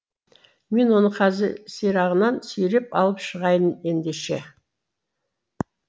мен оны қазір сирағынан сүйреп алып шығайын ендеше